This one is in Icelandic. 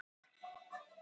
Óttuðust að missa Visa